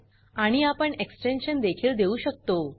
आणि आपण एक्सटेन्शन देखील देऊ शकतो